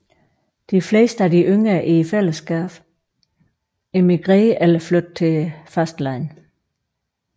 De fleste af de yngre i fællesskabet emigrerede eller flyttet til fastlandet